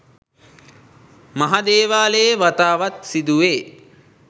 මහ දේවාලයේ වතාවත් සිදුවේ.